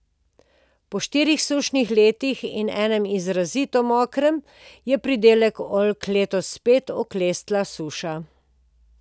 Po štirih sušnih letih in enem izrazito mokrem je pridelek oljk letos spet oklestila suša.